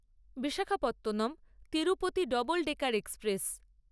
Visakhapatnam Tirupati double decker express